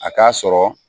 A k'a sɔrɔ